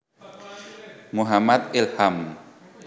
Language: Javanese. Muhammad Ilham